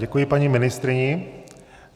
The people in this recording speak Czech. Děkuji paní ministryni.